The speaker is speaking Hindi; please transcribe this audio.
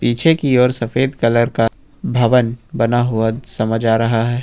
पीछे की ओर सफेद कलर का भवन बना हुआ समझ आ रहा है।